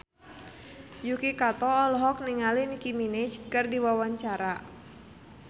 Yuki Kato olohok ningali Nicky Minaj keur diwawancara